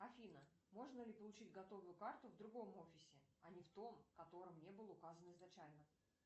афина можно ли получить готовую карту в другом офисе а не в том котором не было указано изначально